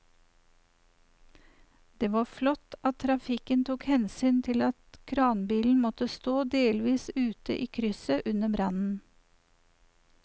Det var flott at trafikken tok hensyn til at kranbilen måtte stå delvis ute i krysset under brannen.